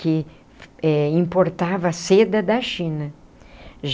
que eh importava seda da China.